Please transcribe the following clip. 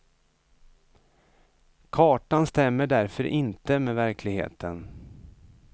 Kartan stämmer därför inte med verkligheten.